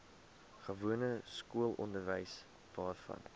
gewone skoolonderwys waarvan